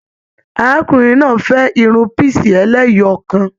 Arákùnrin náà fẹ Irun pisi ẹlẹ́yọọkan.